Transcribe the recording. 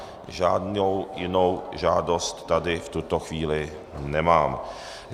Žádnou jinou žádost tady v tuto chvíli nemám.